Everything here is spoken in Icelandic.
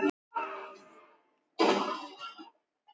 Allir jafnir.